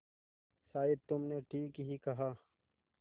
शायद तुमने ठीक ही कहा